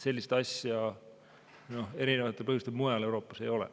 Sellist asja – erinevatel põhjustel – mujal Euroopas ei ole.